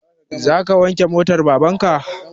Za ka wanke motan baban ka?